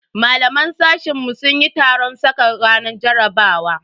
Malaman sashen mu sun yi taron saka ranar jarabawa.